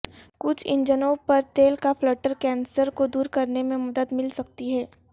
کچھ انجنوں پر تیل کا فلٹر کینسر کو دور کرنے میں مدد مل سکتی ہے